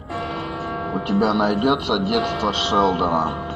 у тебя найдется детство шелдона